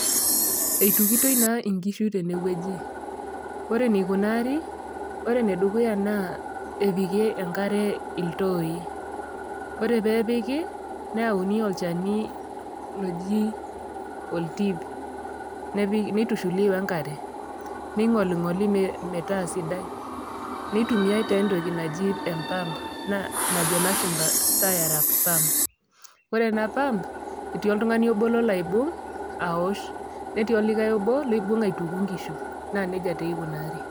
Eitukitoi naa inkishu teinewueji, ore eneikunaari, ore ene dukuya naa epiki enkare iltooi, ore pee epiki neauni olchani loji oltiip, neitushuli we enkare, neing'oling'oli metaa sidai, neitumiai taa entoki naji empamp najo ilashumba stir up pump. Ore ena pump, etii oltung'ani obo olo aibung' aaosh. Netii likai obo oibung' aituku inkishu, naa neija taa eikunaari.